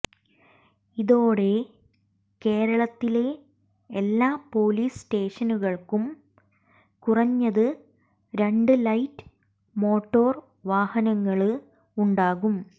ഇതോടെ കേരളത്തിലെ എല്ലാ പോലീസ് സ്റ്റേഷനുകള്ക്കും കുറഞ്ഞത് രണ്ട് ലൈറ്റ് മോട്ടോര് വാഹനങ്ങള് ഉണ്ടാകും